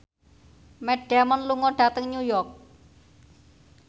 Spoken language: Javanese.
Matt Damon lunga dhateng York